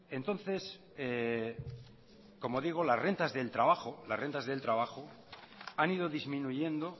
entonces como digo las rentas del trabajo las rentas del trabajo han ido disminuyendo